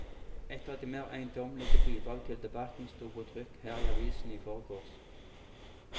Ett av de mer eiendommelige bidrag til debatten sto på trykk her i avisen i forgårs.